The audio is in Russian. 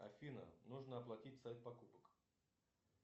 афина нужно оплатить сайт покупок